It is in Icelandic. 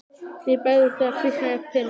Mér bregður þegar kviknar á perunni